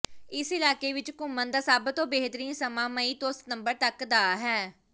ਇਸ ਇਲਾਕੇ ਵਿੱਚ ਘੁੰਮਣ ਦਾ ਸਭ ਤੋਂ ਬਿਹਤਰੀਨ ਸਮਾਂ ਮਈ ਤੋਂ ਸਤੰਬਰ ਤਕ ਦਾ ਹੈ